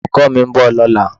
Olùkọ́ mi ń bọ̀ lọ́la.